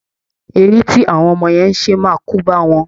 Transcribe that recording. Eré tí awọn ọmọ yẹn ń ṣe máa kóbá wọn